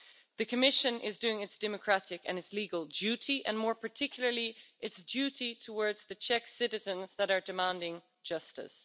The Commission is doing its democratic and its legal duty, and more particularly, its duty towards the Czech citizens that are demanding justice.